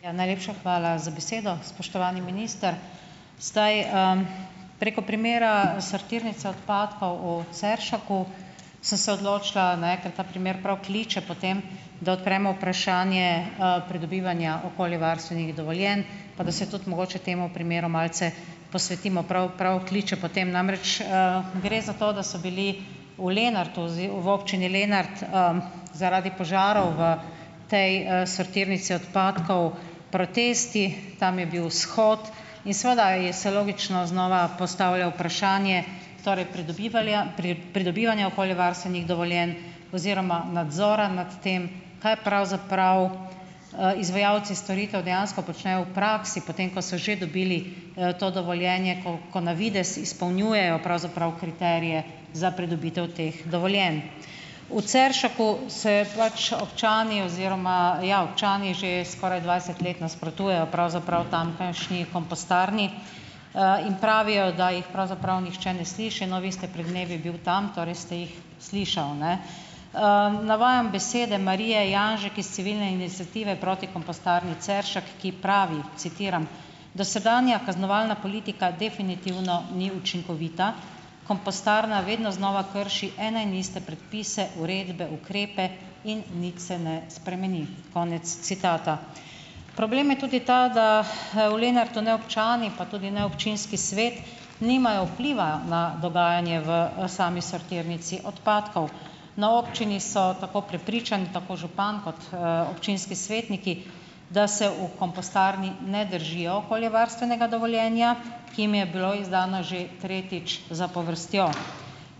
Ja, najlepša hvala za besedo. Spoštovani minister! Zdaj, preko primera sortirnice odpadkov u Ceršaku sem se odločila, ne, ker ta primer prav kliče po tem, da odpremo vprašanje, pridobivanja okoljevarstvenih dovoljenj pa da se tudi mogoče temu primeru malce posvetimo. Prav, prav kliče po tem namreč. Gre za to, da so bili v Lenartu v občini Lenart, zaradi požarov v te, sortirnici odpadkov protesti, tam je bil shod in seveda je se logično znova postavlja vprašanje torej pridobivalja pridobivanja okoljevarstvenih dovoljenj oziroma nadzora nad tem, kaj pravzaprav, izvajalci storitev dejansko počnejo v praksi potem, ko so že dobili, to dovoljenje, ko ko na videz izpolnjujejo pravzaprav kriterije za pridobitev teh dovoljenj. V Ceršaku se pač občani oziroma ja, občani že skoraj dvajset let nasprotujejo pravzaprav tamkajšnji kompostarni, in pravijo, da jih pravzaprav nihče ne sliši. No, vi ste pred dnevi bil tam, torej ste jih slišal, ne. Navajam besede Marije Janžek iz Civilne iniciative proti kompostarni Ceršak, ki pravi, citiram: "Dosedanja kaznovalna politika definitivno ni učinkovita. Kompostarna vedno znova krši ene in iste predpise, uredbe, ukrepe in nič se ne spremeni," konec citata. Problem je tudi ta, da, v Lenartu, ne občani, pa tudi ne občinski svet, nimajo vpliva na dogajanje v, sami sortirnici odpadkov. Na občini so tako prepričani, tako župan kot, občinski svetniki, da se v kompostarni ne držijo okoljevarstvenega dovoljenja, ki jim je bilo izdano že tretjič zapovrstjo.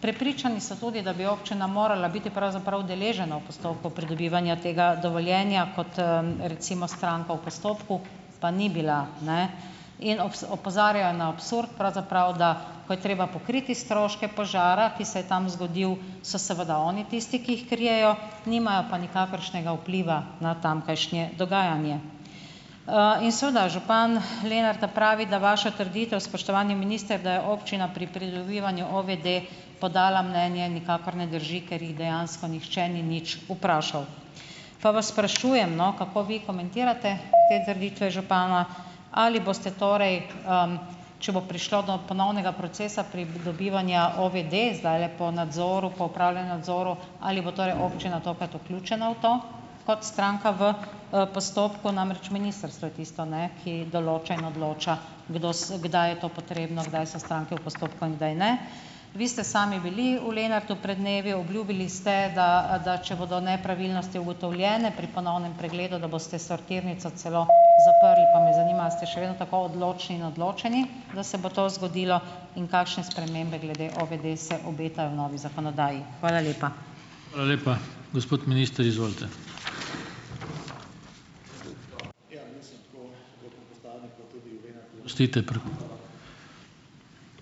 Prepričani so tudi, da bi občina morala biti pravzaprav udeležena v postopku pridobivanja tega dovoljenja kot, recimo stranka v postopku, pa ni bila, ne, in opozarjajo na absurd pravzaprav, da ko je treba pokriti stroške požara, ki se je tam zgodil, so seveda oni tisti, ki jih krijejo, nimajo pa nikakršnega vpliva na tamkajšnje dogajanje. In seveda, župan Lenarta pravi, da vaša trditev, spoštovani minister, da je občina pri pridobivanju OVD podala mnenje, nikakor ne drži, ker jih dejansko nihče ni nič vprašal. Pa vas sprašujem, no, kako vi komentirate te trditve župana, ali boste torej, če bo prišlo do ponovnega procesa pridobivanja OVD zdajle po nadzoru opravljenem nadzoru, ali bo torej občina tokrat vključena v to kot stranka v, postopku, namreč ministrstvo je tisto, ne, ki določa in odloča, kdo se, kdaj je to potrebno, kdaj so stranke v postopku in kdaj ne. Vi ste sami bili v Lenartu pred dnevi, obljubili ste, da da če bodo nepravilnosti ugotovljene pri ponovnem pregledu, da boste sortirnico celo zaprli, pa me zanima, a ste še vedno tako odločni in odločeni, da se bo to zgodilo in kakšne spremembe glede OVD se obetajo novi zakonodaji. Hvala lepa.